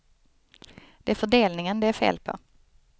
Det är fördelningen det är fel på.